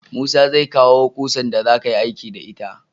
Musa zai kawo kusar da za kayi aiki da ita